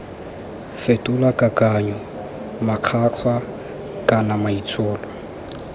fetola kakanyo makgwakgwa kana maitsholo